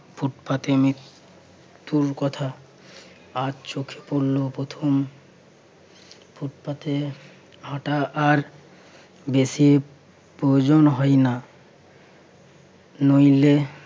ফুটপাতে মৃত্যুর কথা আজ চোখে পড়লো প্রথম। ফুটপাতে হাঁটা আর বেশি প্রয়োজন হয় না। নইলে